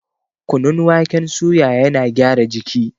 Kunun waken suya yana gyara jiki